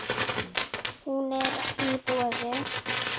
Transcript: Hún er í boði.